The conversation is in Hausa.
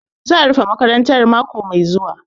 Za'a rufe makarantar mako mai zuwa.